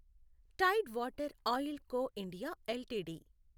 Tide Water Oil Co I LTD